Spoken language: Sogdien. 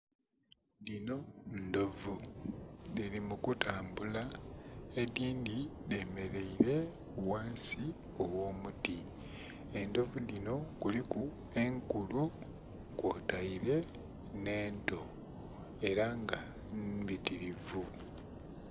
Dhino ndhovu dhili mu kutambula edindhi dhe mereire ghansi ogho muti endhovu dhinho kuliku enkulu kwotaire nhe ento era nga mmbitirivu.